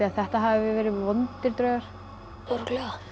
að þetta hafi verið vondir draugar örugglega